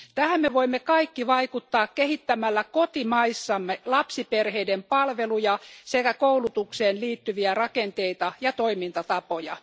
Tähän me voimme kaikki vaikuttaa kehittämällä kotimaissamme lapsiperheiden palveluja sekä koulutukseen liittyviä rakenteita ja toimintatapoja.